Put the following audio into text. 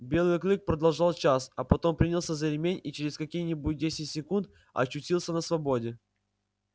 белый клык прождал час а потом принялся за ремень и через какие-нибудь десять секунд очутился на свободе